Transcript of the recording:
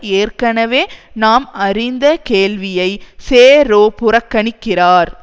ஏற்கனவே நாம் அறிந்த கேள்வியை சேரோ புறக்கணிக்கிறார்